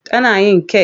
Tana yin kek.